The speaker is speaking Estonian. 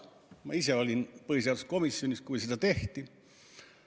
Ma ise olin põhiseaduskomisjonis, kui seda tehti.